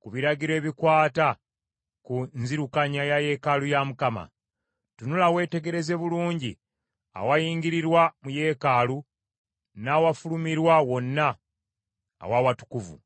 ku biragiro ebikwata ku nzirukanya ya yeekaalu ya Mukama . Tunula weetegereze bulungi awayingirirwa mu yeekaalu n’awafulumirwa wonna aw’Awatukuvu.